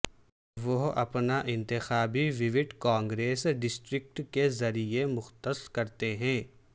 وہ اپنا انتخابی ووٹ کانگریس ڈسٹرکٹ کے ذریعہ مختص کرتے ہیں